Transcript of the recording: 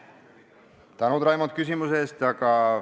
Suur tänu, Raimond, küsimuse eest!